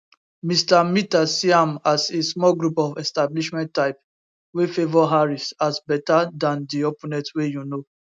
mr mitter see am as a small group of establishment type wey favour harris as beta dan di opponent wey you know